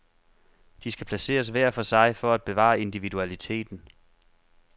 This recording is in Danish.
De skal placeres hver for sig for at bevare individualiteten.